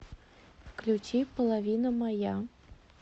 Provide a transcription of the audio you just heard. включи половина моя